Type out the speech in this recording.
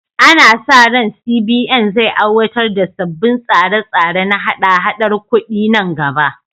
Ana sa ran CBN zai aiwatar da sabbin tsare-tsare na haɗa-haɗar kudi nan gaba.